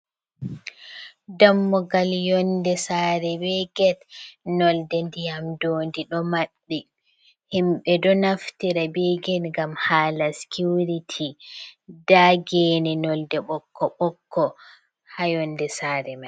Dammugal yonɗe saare ɓe get nolɗe ndiyam dondi ɗo maɓɓiti, himɓe ɗo naftira ɓe get ngam hala sicurity. Nda gene nolde ɓokko-ɓokko ha yonɗe saare mai.